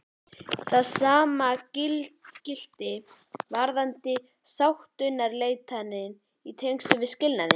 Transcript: Það sama gilti varðandi sáttaumleitanir í tengslum við skilnað.